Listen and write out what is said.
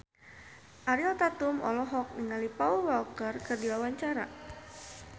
Ariel Tatum olohok ningali Paul Walker keur diwawancara